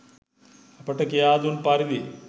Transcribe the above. අපට කියා දුන් පරිදි